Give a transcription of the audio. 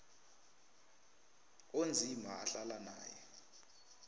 onzima ahlala naye